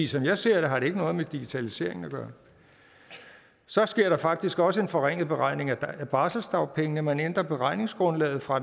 som jeg ser det har det ikke noget med digitaliseringen at gøre så sker der faktisk også en forringelse i beregningen af barselsdagpengene man ændrer beregningsgrundlaget fra